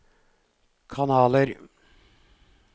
kanaler